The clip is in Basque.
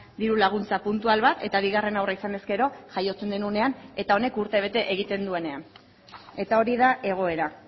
diru laguntza puntual bat eta bigarren haurra izanez gero jaiotzen den unean eta honek urtebete egiten duenean eta hori da egoera